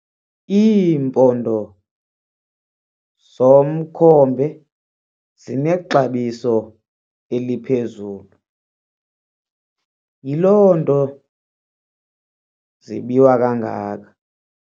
Iimpondo zomkhombe zinexabiso eliphezulu yiloo nto zibiwa kangaka.